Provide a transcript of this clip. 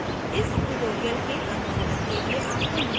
इस tutorial के अनुसरण के लिए आपको निम्न के साथ परिचित होना चाहिए